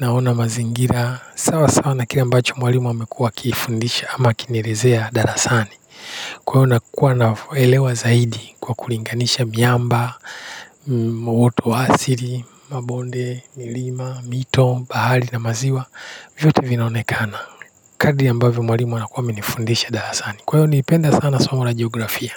naona mazingira, sawa sawa na kile ambacho mwalimu amekuwa akiifundisha ama akinielezea darasani. Kwa hiyo nakua na uelewa zaidi kwa kulinganisha miamba muundo wa uasili mabonde milima mito bahari na maziwa vyote vinaonekana kardi ya ambavyo mwalimu anakuwa amenifundisha darasani kwa hiyo nilipenda sana somo la geografia.